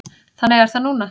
Þannig er það núna.